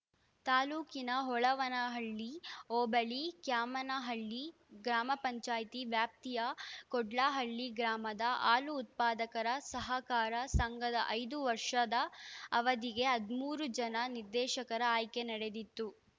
ತಾಲ್ಲೂಕಿನ ಹೊಳವನಹಳ್ಳಿ ಹೋಬಳಿ ಕ್ಯಾಮೇನಹಳ್ಳಿ ಗ್ರಾಮ ಪಂಚಾಯತಿ ವ್ಯಾಪ್ತಿಯ ಕೋಡ್ಲಹಳ್ಳಿ ಗ್ರಾಮದ ಹಾಲು ಉತ್ಪಾದಕರ ಸಹಕಾರ ಸಂಘದ ಐದು ವರ್ಷದ ಅವಧಿಗೆ ಹದ್ ಮೂರು ಜನ ನಿರ್ದೇಶಕರ ಆಯ್ಕೆ ನಡೆದಿತ್ತು